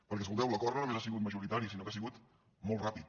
perquè escolteu l’acord no només ha sigut majoritari sinó que ha sigut molt ràpid